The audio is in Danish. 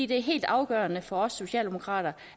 det er helt afgørende for os socialdemokrater